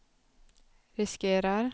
riskerar